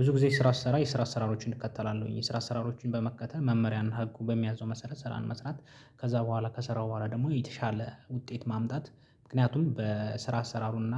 ብዙ ጊዜ ስራ ስሰራ የስራ አሰራሮችን እከተላለሁኝ የስራ አሰራሮችን በመከተል መመሪያ እና ህጉ በሚያዘው መሰረት ስራን መስራት ከዛ በኋላ ከሰራው በኋላ ደግሞ የተሻለ ውጤት ማምጣት ምክንያቱም በስራ አሰራሩና